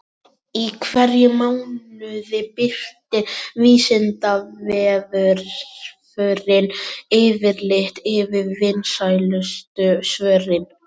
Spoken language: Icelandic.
Í hverjum mánuði birtir Vísindavefurinn yfirlit yfir vinsælustu svörin.